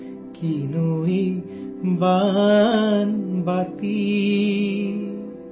کیسی ہے یہ چھوٹی سی کٹوری!